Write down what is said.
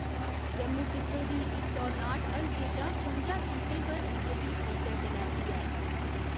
जम्मू खित्ते दी इक सौ नाट हलके चा कुंजा सीटें पर बीजेपी अग्गै चला'रदी ऐ।